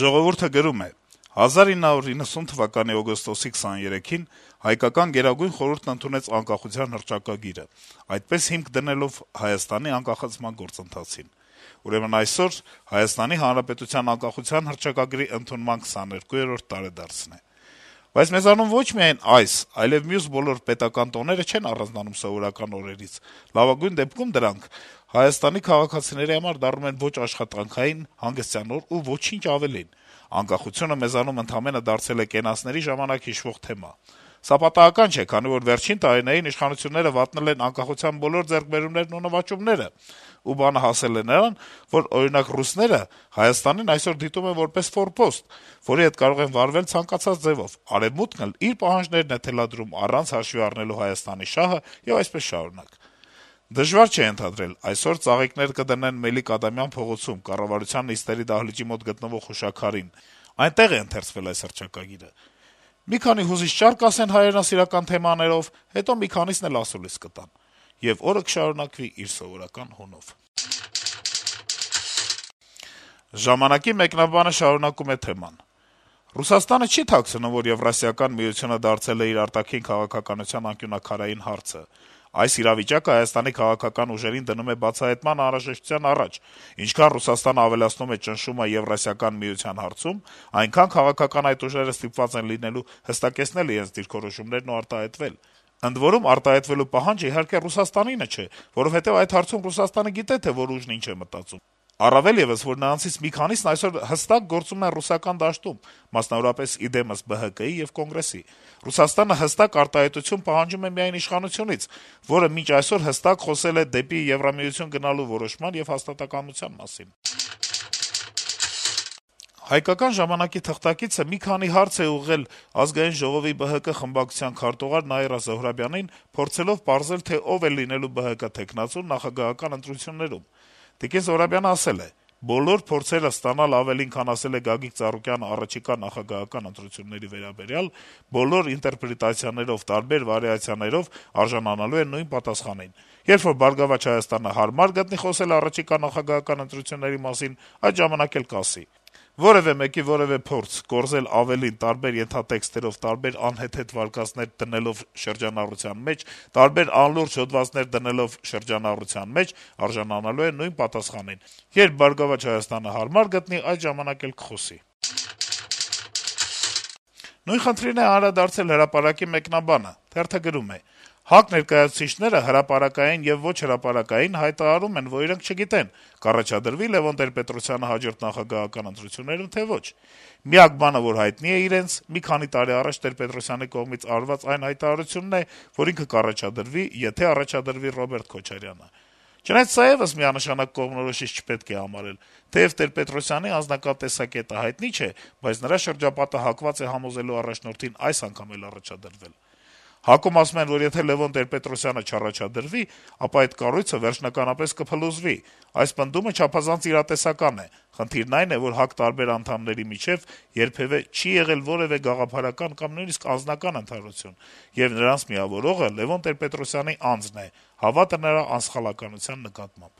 «Ժողովուրդ»-ը գրում է. - «1990 թվականի օգոստոսի 23-ին հայկական Գերագույն խորհուրդն ընդունեց անկախության հռչակագիրը` այդպես հիմք դնելով Հայաստանի անկախացման գործընթացին: Ուրեմն այսօր ՀՀ անկախության հռչակագրի ընդունման 22-րդ տարեդարձն է: Բայց մեզանում ոչ միայն այս, այլեւ մյուս բոլոր պետական տոները չեն առանձնանում սովորական օրերից, լավագույն դեպքում դրանք ՀՀ քաղաքացիների համար դառնում են ոչ աշխատանքային, հանգստյան օր, ու ոչինչ ավելին: Անկախությունը մեզանում ընդամենը դարձել է կենացների ժամանակ հիշվող թեմա: Սա պատահական չէ, քանի որ վերջին տարիներին իշխանությունները վատնել են անկախության բոլոր ձեռքբերումներն ու նվաճումները: Ու բանը հասել է նրան, որ, օրինակ, ռուսները Հայաստանը այսօր դիտում են որպես ֆորպոստ, որի հետ կարող են վարվել ցանկացած ձեւով, Արեւմուտքն էլ իր պահանջներն է թելադրում` առանց հաշվի առնելու ՀՀ շահը եւ այսպես շարունակ: Դժվար չէ ենթադրել` այսօր ծաղիկներ կդնեն Մելիք-Ադամյան փողոցում` կառավարության նիստերի դահլիճի մոտ գտնվող հուշաքարին, այնտեղ է ընթերցվել այս հռչակագիրը: Մի քանի հուզիչ ճառ կասեն հայրենասիրական թեմաներով հետո մի քանիսն ասուլիս կտան: Եվ օրը կշարունակվի իր սովորական հունով»: Թեման շարունակում է «Ժամանակ»-ի մեկնաբանը. - «Ռուսաստանը չի էլ թաքցնում, որ Եվրասիական միությունը դարձել է իր արտաքին քաղաքականության անկյունաքարային հարցը: Այս իրավիճակը Հայաստանի քաղաքական ուժերին դնում է բացահայտման անհրաժեշտության առաջ: Ինչքան Ռուսաստանն ավելացնում է ճնշումը Եվրասիական միության հարցում, այնքան քաղաքական այդ ուժերը ստիպված են լինելու հստակեցնել իրենց դիրքորոշումներն ու արտահայտվել: Ընդ որում, արտահայտվելու պահանջը, իհարկե, Ռուսաստանինը չէ, որովհետեւ այդ հարցում Ռուսաստանը գիտե, թե որ ուժն ինչ է մտածում, առավել եւս, որ նրանցից մի քանիսն այսօր հստակ գործում են ռուսական դաշտում` մասնավորապես, ի դեմս ԲՀԿ-ի եւ Կոնգրեսի: Ռուսաստանը հստակ արտահայտություն պահանջում է միայն իշխանությունից, որը մինչեւ այսօր հստակ խոսել է դեպի Եվրամիություն գնալու որոշման եւ հաստատակամության մասին»: «Հայկական ժամանակ»-ի թղթակիցը մի քանի հարց է ուղղել Ազգային ժողովի ԲՀԿ խմբակցության քարտուղար Նաիրա Զոհրաբյանին` փորձելով պարզել, թե ով է լինելու կուսակցության թեկնածուն նախագահական ընտրություններում: Զոհրաբյանն ասել է. - «Բոլոր փորձերը ստանալ ավելին, քան ասել է Գագիկ Ծառուկանը առաջիկա նախագահական ընտրությունների վերաբերյալ` բոլոր ինտերպրետացիաներով, տարբեր վարիացիաներով, արժանանալու է նույն պատասխանին: Երբ որ «Բարգավաճ Հայաստան»-ը հարմար գտնի խոսել առաջիկա նախագահական ընտրությունների մասին, այդ ժամանակ էլ կասի: Որեւէ մեկի որեւէ փորձ` կորզել ավելին տարբեր ենթատեքստերով, տարբեր անհեթեթ վարկածներ դնելով շրջանառության մեջ, տարբեր անլուրջ հոդվածներ դնելով շրջանառության մեջ, արժանանալու են նույն պատասխանին. երբ «Բարգավաճ Հայաստան»-ը հարմար գտնի, այդ ժամանակ էլ կխոսի»: Նույն խնդրին է անդրադարձել «Հրապարակ»-ի մեկնաբանը. - «ՀԱԿ ներկայացուցիչները հրապարակային եւ ոչ հրապարակային հայտարարում են, որ իրենք չգիտեն՝ կառաջադրվի՞ Լեւոն Տեր-Պետրոսյանը հաջորդ նախագահական ընտրություններում, թե՞ ոչ: Միակ բանը, որ հայտնի է նրանց, մի քանի տարի առաջ Տեր-Պետրոսյանի կողմից արված այն հայտարարությունն է, որ ինքը կառաջադրվի, եթե առաջադրվի Ռոբերտ Քոչարյանը: Չնայած սա եւս միանշանակ կողմնորոշիչ չպետք է համարել: Թեեւ Տեր-Պետրոսյանի անձնական տեսակետը հայտնի չէ, բայց նրա շրջապատը հակված է համոզելու առաջնորդին այս անգամ եւս առաջադրվել: ՀԱԿ-ում ասում են, որ եթե Լեւոն Տեր-Պետրոսյանը չառաջադրվի, ապա այդ կառույցը վերջնականապես կփլուզվի: Այս պնդումը չափազանց իրատեսական է: Խնդիրն այն է, որ ՀԱԿ անդամների միջեւ երբեւէ չի եղել որեւէ գաղափարական կամ նույնիսկ անձնական ընդհանրություն, եւ նրանց միավորողը Լեւոն Տեր-Պետրոսյանի անձն է, հավատը նրա անսխալականության նկատմամբ»: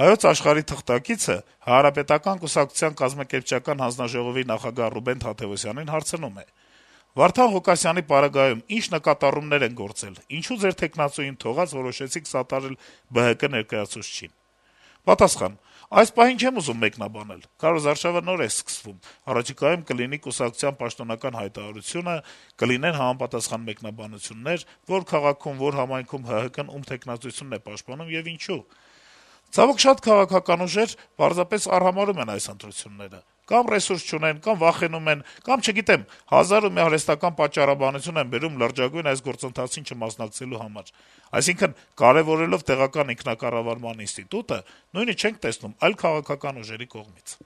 «Հայոց Աշխարհ»-ի թղթակիցը Հանրապետական կուսակցության կազմակերպչական հանձնաժողովի նախագահ Ռուբեն Թադեւոսյանին հարցնում է. - «Վարդան Ղուկասյանի պարագայում ի՞նչ նկատառումներ են գործել։ Ինչո՞ւ ձեր թեկնածուին թողած՝ որոշեցիք սատարել ԲՀԿ ներկայացուցչին»։ Պատասխան. - «Այս պահին չեմ ուզում մեկնաբանել։ Քարոզարշավը նոր է սկսվել՝ առաջիկայում կլինի կուսակցության պաշտոնական հայտարարությունը, կլինեն համապատասխան մեկնաբանություններ՝ որ քաղաքում, որ համայնքում ՀՀԿ-ն ում թեկնածությունն է պաշտպանում եւ ինչու։ Ցավոք, շատ քաղաքական ուժեր պարզապես արհամարհում են՝ կամ ռեսուրս չունեն, կամ վախենում են, կամ, չգիտեմ՝ հազար ու մի արհեստական պատճառաբանություն են բերում լրջագույն այս գործընթացին չմասնակցելու համար։ Այսինքն՝ կարեւորելով տեղական ինքնակառավարման ինստիտուտը, նույնը չենք տեսնում այլ քաղաքական ուժերի կողմից»։